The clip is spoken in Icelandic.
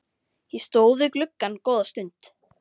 Ég stóð við gluggann góða stund.